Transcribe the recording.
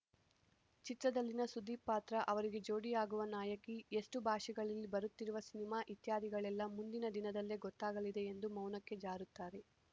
ಚಿತ್ರದಲ್ಲಿನ ಸುದೀಪ್‌ ಪಾತ್ರ ಅವರಿಗೆ ಜೋಡಿಯಾಗುವ ನಾಯಕಿ ಎಷ್ಟುಭಾಷೆಗಳಲ್ಲಿ ಬರುತ್ತಿರುವ ಸಿನಿಮಾ ಇತ್ಯಾದಿಗಳೆಲ್ಲ ಮುಂದಿನ ದಿನದಲ್ಲೇ ಗೊತ್ತಾಗಲಿದೆ ಎಂದು ಮೌನಕ್ಕೆ ಜಾರುತ್ತಾರೆ